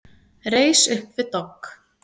Reis upp við dogg.